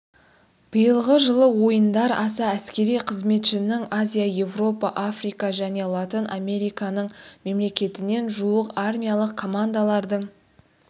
биылғы жылы ойындар аса әскери қызметшінің азия еуропа африка және латын американың мемлекетінен жуық армиялық командалардың